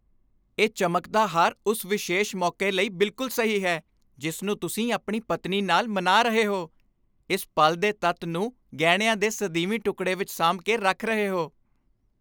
ਇਹ ਚਮਕਦਾ ਹਾਰ ਉਸ ਵਿਸ਼ੇਸ਼ ਮੌਕੇ ਲਈ ਬਿਲਕੁਲ ਸਹੀ ਹੈ ਜਿਸ ਨੂੰ ਤੁਸੀਂ ਆਪਣੀ ਪਤਨੀ ਨਾਲ ਮਨਾ ਰਹੇ ਹੋ, ਇਸ ਪਲ ਦੇ ਤੱਤ ਨੂੰ ਗਹਿਣਿਆਂ ਦੇ ਸਦੀਵੀ ਟੁਕਡ਼ੇ ਵਿੱਚ ਸਾਂਭ ਕੇ ਰੱਖ ਰਹੇ ਹੋ।